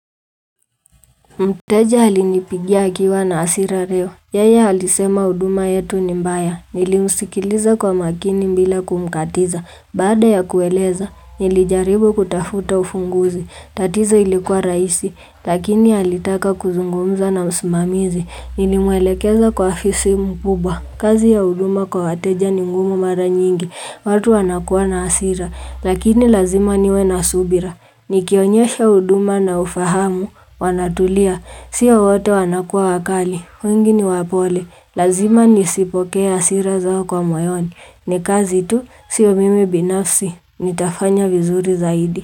Mteja halinipigia akiwa na asira leo. Yeye halisema uduma yetu ni mbaya. Nilimusikiliza kwa makini mbila kumkatiza baada ya kueleza nilijaribu kutafuta ufunguzi tatizo ilikuwa raisi lakini halitaka kuzungumza na msimamizi nilimwelekeza kwa afisi mkubwa. Kazi ya uduma kwa wateja ni ngumu mara nyingi watu wanakuwa na asira lakini lazima niwe na subira nikionyesha uduma na ufahamu wanatulia sio wote wanakua wakali weingi ni wapole lazima nisipokee asira zao kwa moyoni nikazi tu sio mimi binafsi Nitafanya vizuri zaidi.